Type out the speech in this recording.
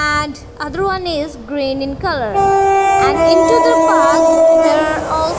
and other one is green in colour and into the park there al--